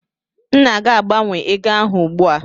M na-aga gbanwee ego ahụ ugbu a.